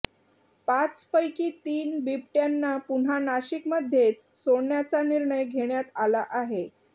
पाच पैकी तीन बिबट्यांना पुन्हा नाशिकमध्येच सोडण्याचा निर्णय घेण्यात आला आहे